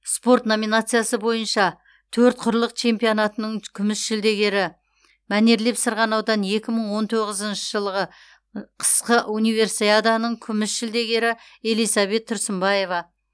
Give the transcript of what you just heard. спорт номинациясы бойынша төрт құрлық чемпионатының күміс жүлдегері мәнерлеп сырғанаудан екі мың он тоғызыншы жылғы қысқы универсиаданың күміс жүлдегері элизабет тұрсынбаева